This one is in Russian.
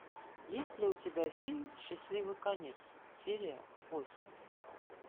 есть ли у тебя фильм счастливый конец серия восемь